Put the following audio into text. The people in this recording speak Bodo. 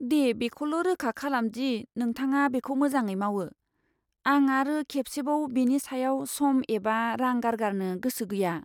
दे, बेखौल' रोखा खालाम दि नोंथाङा बेखौ मोजाङै मावो। आं आरो खेबसेबाव बेनि सायाव सम एबा रां गारगारनो गोसो गैया।